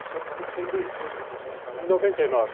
Isso foi foi em dois mil, quando vocês foram para lá? noventa e nove.